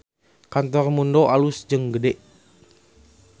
Kantor Mundo alus jeung gede